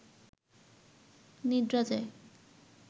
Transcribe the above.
নিদ্রা যায়